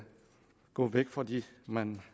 gå væk fra det man